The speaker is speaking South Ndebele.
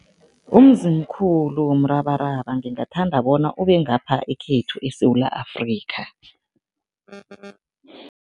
Umzimkhulu womrabaraba ngingathanda bona ube ngapha ekhethu eSewula Afrika.